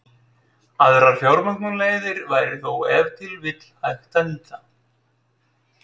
Aðrar fjármögnunarleiðir væri þó ef til vill hægt að nýta.